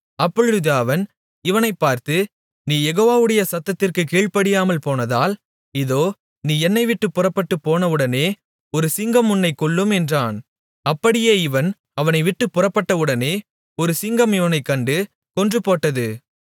அப்பொழுது அவன் இவனைப் பார்த்து நீ யெகோவாவுடைய சத்தத்திற்குக் கீழ்ப்படியாமல் போனதால் இதோ நீ என்னைவிட்டுப் புறப்பட்டுப் போனவுடனே ஒரு சிங்கம் உன்னைக் கொல்லும் என்றான் அப்படியே இவன் அவனைவிட்டுப் புறப்பட்டவுடனே ஒரு சிங்கம் இவனைக் கண்டு கொன்றுபோட்டது